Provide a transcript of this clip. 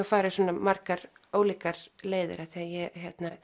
farið svona margar ólíkar leiðir því ég